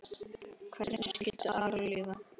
Hvernig skildi Ara líða?